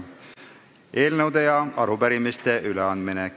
Eelnõude ja arupärimiste üleandmine.